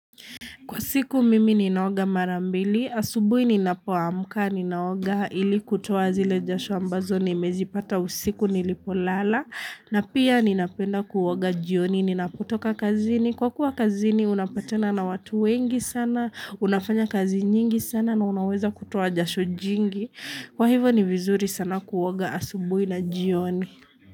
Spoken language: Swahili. Kwa siku mimi ninaoga marambili, asubuhi ninapoamka, ninaoga ili kutoa zile jasho ambazo, nimezipata usiku nilipo lala, na pia ninapenda kuoga jioni, ninapotoka kazini, kwa kuwa kazini unapatana na watu wengi sana, unafanya kazi nyingi sana na unaweza kutoa jasho jingi, kwa hivo ni vizuri sana kuoga asubuhi na jioni.